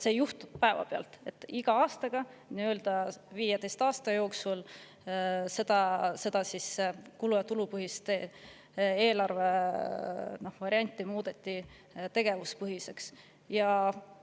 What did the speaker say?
See ei juhtunud päevapealt, iga aastaga selle 15 aasta jooksul on seda kulu- ja tulupõhist eelarvevarianti tegevuspõhisemaks muudetud.